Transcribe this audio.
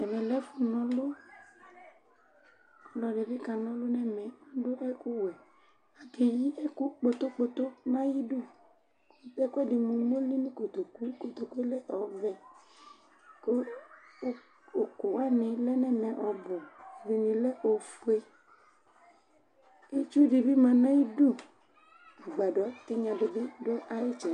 Ɛmɛ lɛ ɛfʋ nʋ clʋ ; ɔlɔdɩ bɩ ka nɔʋlʋ nɛmɛ ,adʋ ɛkʋ wɛAkeyi ɛkʋ kpotokpto nʋ ayidu: k' ɛkʋɛdɩ mʋ umoli nʋ kotoku, kotokue lɛ ɔvɛKʋ ʋkʋ wanɩ lɛ nɛmɛ ɔbʋ, ɛdɩnɩ lɛ ofueItsu dɩ bɩ ma nayidu , agbadɔ tɩnya dɩ bɩ dʋ ayɩtsɛdɩ